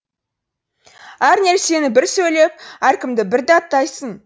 әр нәрсені бір сөйлеп әркімді бір даттайсың